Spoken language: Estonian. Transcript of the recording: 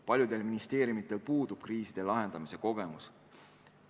Paljudel ministeeriumidel puudub kriiside lahendamise kogemus.